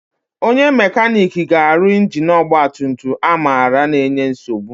Onye mekaniki ga-arụ ingini ọgbatumtum Amara na-enye nsogbu.